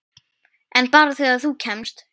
En bara þegar þú kemst.